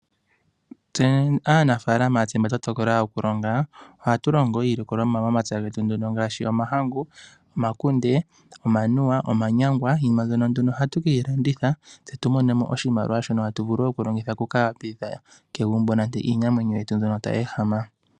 Aanamapya ohaya longo iilikolomwa momapya gawo ngaashi omahangu, omakunde, omanuwa osho wo omayangwa. Iinima mbyoka ohayi vulu oku landithwa opo ya mone mo iimaliwa byoka tayi vulu oku pangitha iinamwenyo mbyoka tayi ehama.